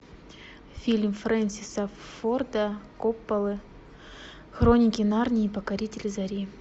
фильм френсиса форда копполы хроники нарнии покоритель зари